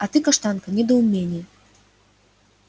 а ты каштанка недоумение